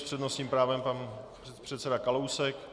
S přednostním právem pan předseda Kalousek.